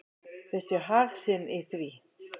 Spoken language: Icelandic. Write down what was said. Þau sjá hag sinn í því.